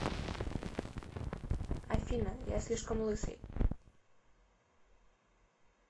афина я слишком лысый